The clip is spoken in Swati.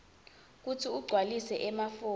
kutsi ugcwalise emafomu